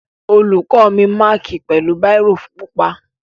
Olùkó mi mákì pẹ̀lú báírò pupa.